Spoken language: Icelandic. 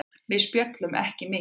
Við spjölluðum ekki mikið.